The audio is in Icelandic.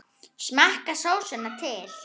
Smakkið sósuna til.